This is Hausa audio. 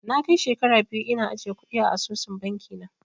Na kai shekara biyu ina ajiye kuɗi a asusun bankin na